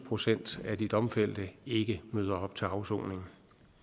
procent af de domfældte ikke møder op til afsoning